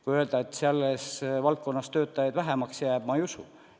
Kui öelda, et selles valdkonnas ehk jääb töötajaid vähemaks – ma ei usu.